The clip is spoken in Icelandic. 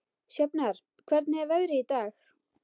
Sjafnar, hvernig er veðrið í dag?